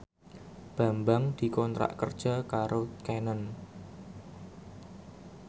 Bambang dikontrak kerja karo Canon